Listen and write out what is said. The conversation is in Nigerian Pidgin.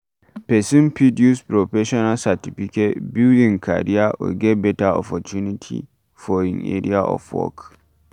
person fit use professional certificate, build im career or get better opportunity for im area of work